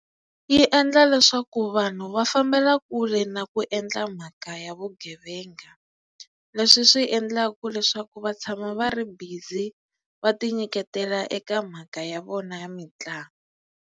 Yi endla leswaku vanhu va fambela kule na ku endla mhaka ya vugevenga leswi swi endlaka leswaku va tshama va ri busy va ti nyiketela eka mhaka ya vona ya mitlangu.